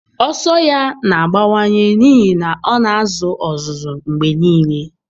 Ọsọ ya na-abawanye n'ihi na ọ na-azụ ọzụzụ mgbe niile